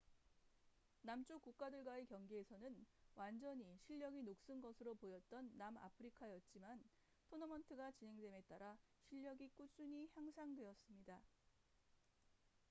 남쪽 국가들과의 경기에서는 완전히 실력이 녹슨 것으로 보였던 남아프리카였지만 토너먼트가 진행됨에 따라 실력이 꾸준히 향상되었습니다